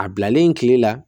A bilalen tile la